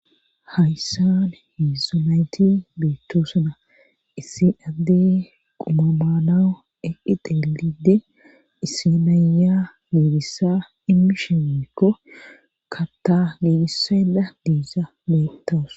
Hayssan heezhzhu nayti beettosona. issi adde quma maana eqqi teelide issi naya geegissa immishimekko kata giigissada deeza betawus.